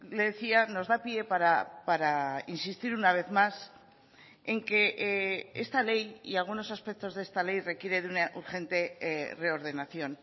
le decía nos da pie para insistir una vez más en que esta ley y algunos aspectos de esta ley requiere de una urgente reordenación